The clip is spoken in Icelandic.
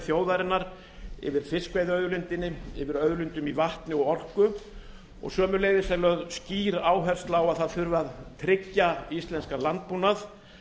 þjóðarinnar yfir fiskveiðiauðlindinni yfir auðlindum í vatni og orku og sömuleiðis er lögð skýr áhersla á að það þurfi að tryggja íslenskan landbúnað